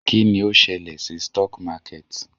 Kí ni ó ṣẹlẹ̀ sí stock market?